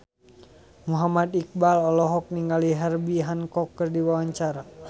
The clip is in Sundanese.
Muhammad Iqbal olohok ningali Herbie Hancock keur diwawancara